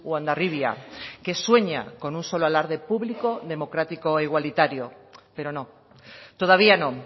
o hondarribia que sueña con un solo alarde público democrático e igualitario pero no todavía no